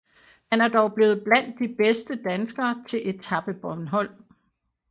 Han er dog blevet blandt de bedste danskere til Etape Bornholm